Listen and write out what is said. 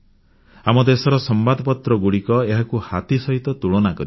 ଆମ ଦେଶର ସମ୍ବାଦପତ୍ର ଗୁଡ଼ିକ ଏହାକୁ ହାତୀ ସହିତ ତୁଳନା କରିଛନ୍ତି